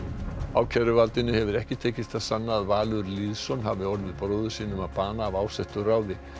ákæruvaldinu hefur ekki tekist að sanna að Valur Lýðsson hafi orðið bróður sínum að bana af ásettu ráði